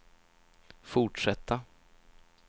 fortsätta